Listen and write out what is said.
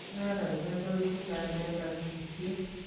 Araraita kuibu kalyet ak sisyet.